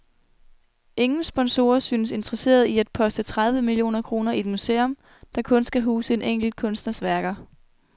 Ingen sponsorer synes interesserede i at poste tredive millioner kroner i et museum, der kun skal huse en enkelt kunstners værker.